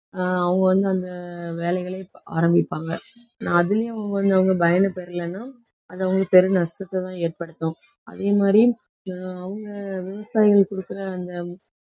ஆஹ் அவங்க வந்து அந்த வேலைகளை ஆரம்பிப்பாங்க நான் அதிலயும் அவங்க பயனை பெறலைன்னா அது அவங்களுக்கு பெருநஷ்டத்தைத்தான் ஏற்படுத்தும். அதே மாதிரி ஆஹ் அவங்க விவசாயிகள் கொடுக்கிற அந்த